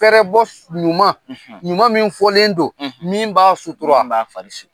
Fɛrɛ bɔ su Ɲuman; Ɲuman min fɔlen don; Min b'a sutura; Min b'a fari su